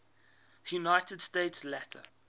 united states later